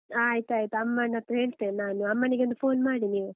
ಆಯ್ತಾಯ್ತು ಅಮ್ಮನ್ ಹತ್ರ ಹೇಳ್ತೇನೆ ನಾನು, ಅಮ್ಮನಿಗೆ ಒಂದು phone ಮಾಡಿ ನೀವು.